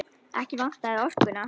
Ekki vantaði orkuna.